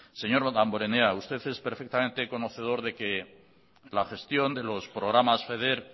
señor damborenea usted es perfectamente conocedor de que la gestión de los programas feder